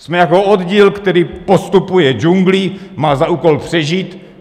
Jsme jako oddíl, který postupuje džunglí, má za úkol přežít.